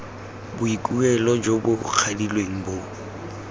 boikuelo jo bo kwadilweng bo